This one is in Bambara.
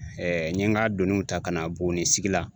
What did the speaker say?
n ye n ka doniw ta ka na Buguni sigi la